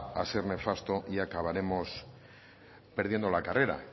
a ser nefasto y acabaremos perdiendo la carrera